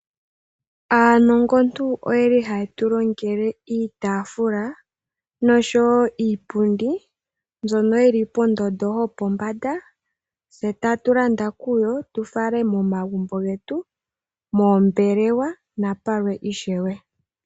Aanongontu oyeli haye tulongele iitafula noshowo iipundi, mbyono yili pondondo yopombanda, tse tatu landa kuyo, tu fale momagumbo getu, moombelewa, napalwe ishewe.